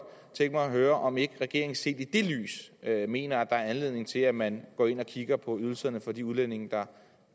tænke mig at høre om ikke regeringen set i det lys mener at der er anledning til at man går ind og kigger på ydelserne for de udlændinge der